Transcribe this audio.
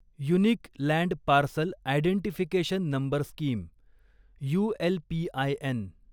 unique land parcel identification number scheme ULPIN